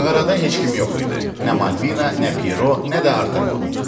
Mağarada heç kim yox idi: nə Malvina, nə Piero, nə də Artemon.